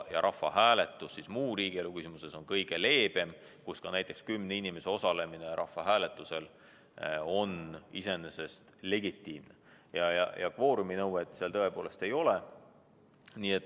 Rahvahääletus muu riigielu küsimuses on kõige leebem ning selle korral on ka näiteks kümne inimese osalemine iseenesest legitiimne, kvoorumi nõuet seal tõepoolest ei ole.